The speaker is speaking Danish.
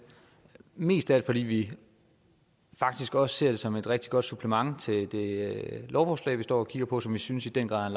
mest af alt fordi vi faktisk også ser det som et rigtig godt supplement til det lovforslag vi står og kigger på og som vi synes i den grad